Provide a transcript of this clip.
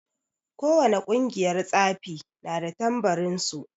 Ko wane ƙungiyar tsafi na da tambarin su.